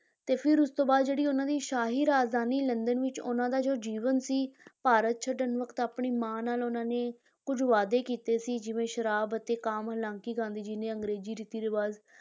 ਤੇ ਫਿਰ ਉਸ ਤੋਂ ਬਾਅਦ ਜਿਹੜੀ ਉਹਨਾਂ ਦੀ ਸ਼ਾਹੀ ਰਾਜਧਾਨੀ ਲੰਦਨ ਵਿੱਚ ਉਨ੍ਹਾਂ ਦਾ ਜੋ ਜੀਵਨ ਸੀ ਭਾਰਤ ਛੱਡਣ ਵਕਤ ਆਪਣੀ ਮਾਂ ਨਾਲ ਉਹਨਾਂ ਨੇ ਕੁੱਝ ਵਾਅਦੇ ਕੀਤੇ ਸੀ ਜਿਵੇਂ ਸ਼ਰਾਬ ਅਤੇ ਕਾਮ ਹਾਲਾਂਕਿ ਗਾਂਧੀ ਜੀ ਨੇ ਅੰਗਰੇਜ਼ੀ ਰੀਤੀ ਰਿਵਾਜ